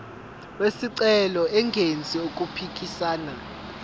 wesicelo engenzi okuphikisana